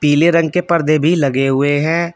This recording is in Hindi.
पिले रंग के पर्दे भी लगे हुए हैं।